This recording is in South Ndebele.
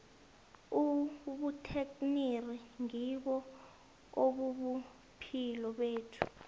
ubutekniri ngibo obubuphilo bethu